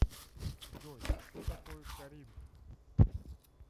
джой что такое коринф